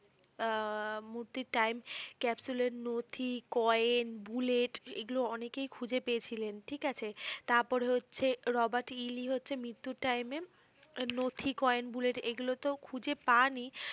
আহ মূর্তির time ক্যাপ্সুলেন, নথি, কয়েন, বুলেট এগুলো অনেকেই খুঁজে পেয়েছিলেন ঠিক আছে ।তারপরে হচ্ছে রবার্ট ইলি হচ্ছে মৃত্যুর time এ নথি, কয়েন, বুলেট এগুলোতে পানই